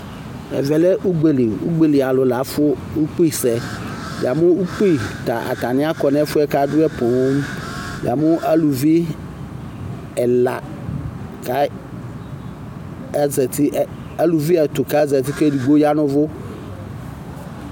Ɛvɛ lɛ ugbeli ugbelialu lafu ukpi sɛ yamu ukpi kɔ nu ɛfɛ kabu poo yamu uluvi ɛla ɛluvi ɛtu kezati ku edigbo ya nu uvu